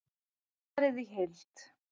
Svarið í heild